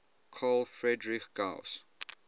carl friedrich gauss